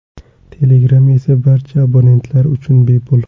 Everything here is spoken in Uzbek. Telegram esa barcha abonentlar uchun bepul.